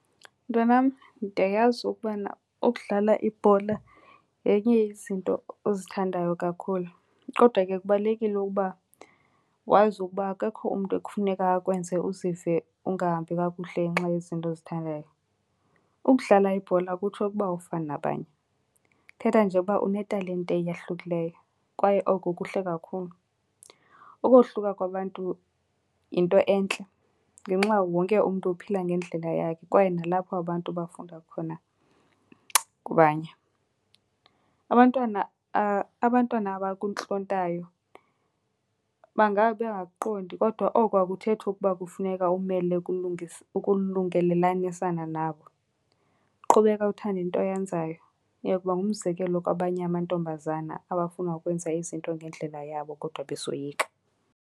Mntwanam, ndiyayazi ukubana ukudlala ibhola yenye yezinto ozithandayo kakhulu. Kodwa ke kubalulekile ukuba wazi ukuba akekho umntu ekufuneka akwenze uzive ungahambi kakuhle ngenxa yezinto ozithandayo. Ukudlala ibhola akutsho ukuba awufani nabanye, kuthetha nje ukuba unetalente eyahlukileyo kwaye oko kuhle kakhulu. Ukohluka kwabantu yinto entle ngenxa wonke umntu uphila ngendlela yakhe kwaye nalapho abantu bafunda khona kubanye. Abantwana , abantwana abakuntlontayo bangabe bengakuqondi kodwa oko akuthethi ukuba kufuneka umele ukulungelelanisana nabo. Qhubeka uthande into oyenzayo, uyokuba ngumzekelo kwabanye amantombazana abafuna ukwenza izinto ngendlela yabo kodwa besoyika.